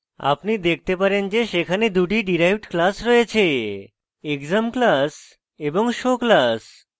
আপনি দেখতে পারেন যে সেখানে দুটি derived classes রয়েছেexam classes এবং show classes